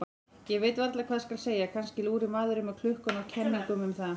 Ég veit varla hvað skal segja, kannski lúrir maðurinn með klukkuna á kenningum um það.